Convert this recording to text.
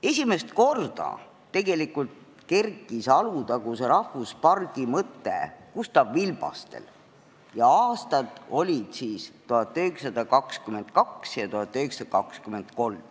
Esimest korda kerkis Alutaguse rahvuspargi mõte tegelikult Gustav Vilbastel ja aastad olid siis 1922 ja 1923.